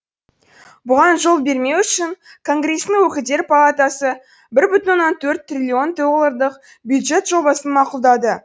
бұған жол бермеу үшін конгресстің өкілдер палатасы бір бүтін оннан төрт триллион долларлық бюджет жобасын мақұлдады